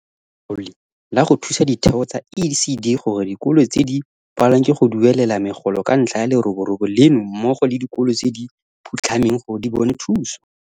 Letlole la go Thusa Ditheo tsa ECD gore dikolo tse di palelwang ke go duelela megolo ka ntlha ya leroborobo leno mmogo le dikolo tse di phutlhameng gore di bone thuso.